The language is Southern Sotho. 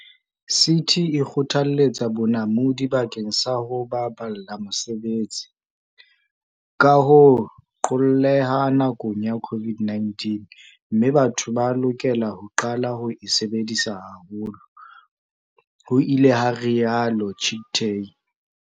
"CT e kgothaletsa bonamodi bakeng sa ho baballa mesebetsi, ka ho qolleha nakong ya COVID-19, mme batho ba lokela ho qala ho e sebedisa haholo," ho ile ha rialo Chicktay.